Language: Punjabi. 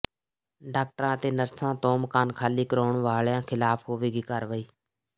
ਡਾਕਟਰਾਂ ਤੇ ਨਰਸਾਂ ਤੋਂ ਮਕਾਨ ਖਾਲੀ ਕਰਵਾਉਣ ਵਾਲਿਆਂ ਖ਼ਿਲਾਫ਼ ਹੋਵੇਗੀ ਕਾਰਵਾਈ